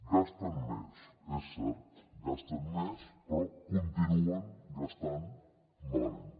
gasten més és cert gasten més però continuen gastant malament